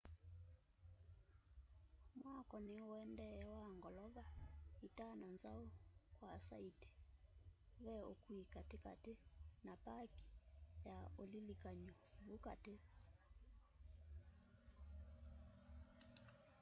mwako niuendee wa ngolova itano nzau kwa saiti ve ukui katikati na paki ya ulilikany'o vu kati